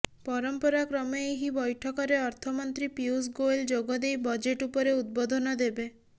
ପରମ୍ପରା କ୍ରମେ ଏହି ବ୘ଠକରେ ଅର୍ଥମନ୍ତ୍ରୀ ପୀୟୂଷ ଗୋୟଲ ଯୋଗଦେଇ ବଜେଟ୍ ଉପରେ ଉଦବୋଧନ ଦେବେ